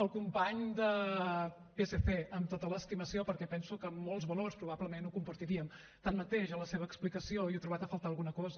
al company del psc amb tota l’estimació perquè penso que en molts valors probablement ho compartiríem tanmateix a la seva explicació hi he trobat a faltar alguna cosa